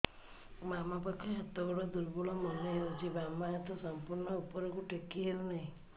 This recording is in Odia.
ବାମ ପାଖ ହାତ ଗୋଡ ଦୁର୍ବଳ ମନେ ହଉଛି ବାମ ହାତ ସମ୍ପୂର୍ଣ ଉପରକୁ ଟେକି ହଉ ନାହିଁ